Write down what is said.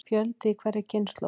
Fjöldi í hverri kynslóð.